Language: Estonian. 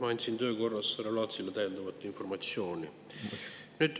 Ma andsin töö korras härra Laatsile täiendavat informatsiooni.